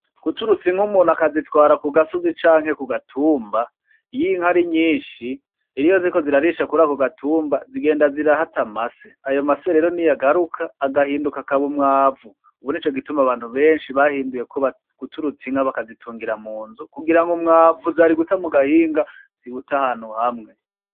Guturutsa Inka umuntu akazitwara kugasozi canke kugatumba iyo Inka ari nyishi iyo ziriko zirarisha kurako kugatumba zigenda zirahata amase; ayo mase rero niyo agaruka agahinduka umwavu ubu nico gituma abantu benshi bahinduye guturutsa Inka bakazitungira munzu kugira ngo umwavu zari guta mugahinga ziwute ahantu hamwe.